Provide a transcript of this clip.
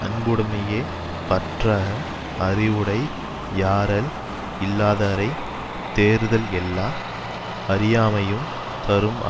அன்புடமையே பற்றக அறிவுடை யாரல் இல்லாதவரைத் தேறுதல் எல்லா அறியாமையும் தரும்